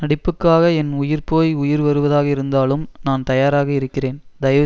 நடிப்புக்காக என் உயிர் போய் உயிர் வருவதாக இருந்தாலும் நான் தயாராக இருக்கிறேன்தயவு